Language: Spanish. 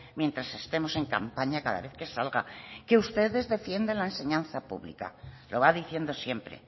mientras estemos en campaña cada vez que salga que ustedes defienden la enseñanza pública lo va diciendo siempre